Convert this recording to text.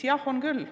Jah, on küll.